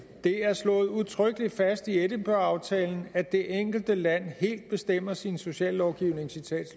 det er slået udtrykkelig fast i edinburgh aftalen at det enkelte land helt bestemmer sin sociallovgivning